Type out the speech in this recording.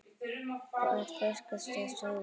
Hvar fékkstu þessi augu?